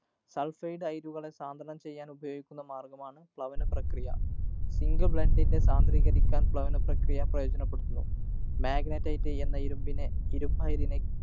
Sulphide അയിരുകളെ സാന്ദ്രണം ചെയ്യാനുപയോഗിക്കുന്ന മാര്‍ഗ്ഗമാണ് പ്ലവന പ്രക്രിയ. Zinc Blend ൻ്റെ സാന്ദ്രീകരിക്കാന്‍ പ്ലവന പ്രക്രിയ പ്രയോചനപ്പെടുത്തുന്നു. Magnetite എന്ന ഇരുമ്പിനെ ഇരുമ്പായതിനെ